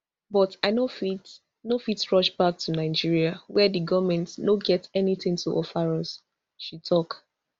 but i no fit no fit rush back to nigeria wia di goment no get anytin to offer us she tok